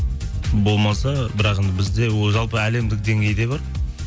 болмаса бірақ енді бізде жалпы әлемдік деңгейде бар